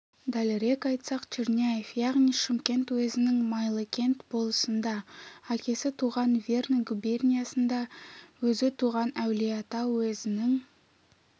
дәлірек айтсақ черняев яғни шымкент уезінің майлыкент болысында әкесі туған верный губерниясында өзі туған әулиеата уезінің